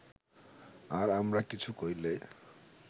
আর আমরা কিছু কইলে